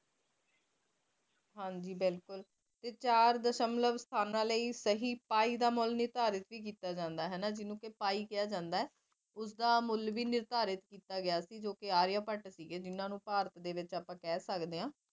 ਹਾਜੀ ਬਿਲਕੁਲ ਤੇ ਚਾਰ ਸਹੀ ਸਥਾਨਾ ਲਈ ਸਹੀ ਪਾਈ ਦਾ ਮੁੱਲ ਵੀ ਨਿਰਧਾਰਿਤ ਕੀਤਾ ਜਾਂਦਾ ਹੈ ਹਨਾ ਜੀਨੂੰ ਕਿ ਪਈ ਕਿਹਾ ਜਾਂਦਾ ਹੈ ਉਸਦਾ ਮੁੱਲ ਵੀ ਨਿਰਧਾਰਿਤ ਕੀਤਾ ਗਿਆ ਸੀ ਜੋ ਕਿ ਆਰੀਆਂ ਭੱਟ ਸੀਗੇ ਜੋ ਭਾਰਤ ਦੇ ਵਿੱਚ ਅਸੀ ਕਹਿ ਸਕਦੇ ਆ